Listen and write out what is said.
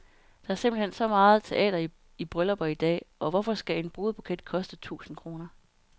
Der er simpelt hen så meget teater i bryllupper i dag, og hvorfor skal en brudebuket koste tusind kroner?